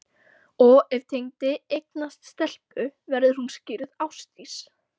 Og ef Tengdi eignast stelpu, verður hún skírð Ásdís